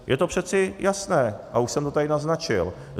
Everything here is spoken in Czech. Je to přece jasné a už jsem to tady naznačil.